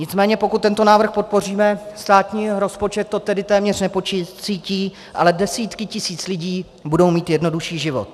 Nicméně pokud tento návrh podpoříme, státní rozpočet to tedy téměř nepocítí, ale desítky tisíc lidí budou mít jednodušší život.